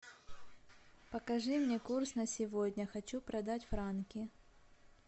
покажи мне курс на сегодня хочу продать франки